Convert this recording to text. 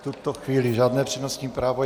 V tuto chvíli žádné přednostní právo.